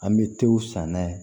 An bɛ tew saniya